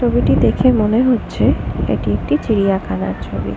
ছবিটি দেখে মনে হচ্ছে এটি একটি চিড়িয়াখানা ছবি।